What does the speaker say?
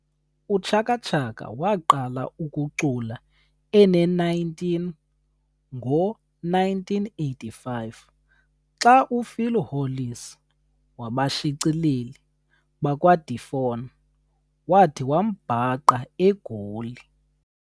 UChaka Chaka waqala ukucula ene-19 ngo-1985 xa uPhil Hollis wabashicileli bakwaDephon wathi wambhaqa e Goli.